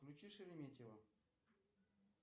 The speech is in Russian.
включи шереметьево